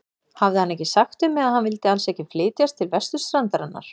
Hafði hann ekki sagt við mig, að hann vildi alls ekki flytjast til vesturstrandarinnar?